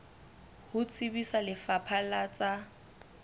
ho tsebisa lefapha la tsa